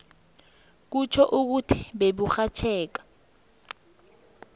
kutjho ukuthi beburhatjheka